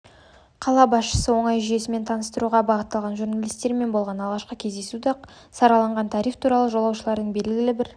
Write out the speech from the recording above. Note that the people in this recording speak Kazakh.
қала басшысы оңай жүйесімен таныстыруға бағытталған журналистермен болған алғашқы кездесуде-ақ сараланған тариф туралы жолаушының белгілі бір